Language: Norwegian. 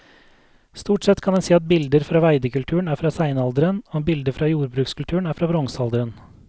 Stort sett kan en si at bilder fra veidekulturen er fra steinalderen og bilder fra jordbrukskulturen er fra bronsealderen.